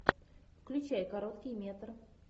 включай короткий метр